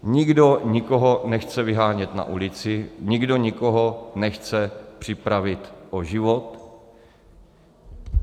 Nikdo nikoho nechce vyhánět na ulici, nikdo nikoho nechce připravit o život.